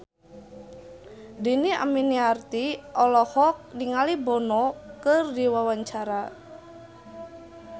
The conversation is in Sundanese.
Dhini Aminarti olohok ningali Bono keur diwawancara